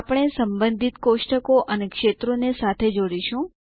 આપણે સંબંધિત કોષ્ટકો અને ક્ષેત્રો ને સાથે જોડીશું